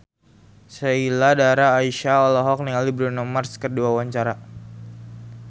Sheila Dara Aisha olohok ningali Bruno Mars keur diwawancara